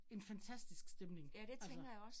En fantastisk stemning altså